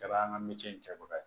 Kɛra an ka miiri in kɛbaga ye